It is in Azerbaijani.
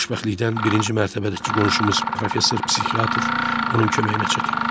Xoşbəxtlikdən birinci mərtəbədəki qonşumuz professor psixiatr onun köməyinə çatıb.